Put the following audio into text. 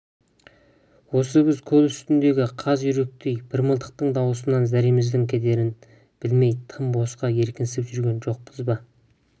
осы біз көл үстіндегі қаз-үйректей бір мылтықтың даусынан зәреміздің кетерін білмей тым босқа еркінсініп жүрген жоқпыз ба